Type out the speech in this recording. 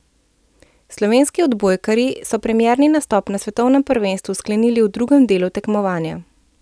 Slovenski odbojkarji so premierni nastop na svetovnem prvenstvu sklenili v drugem delu tekmovanja.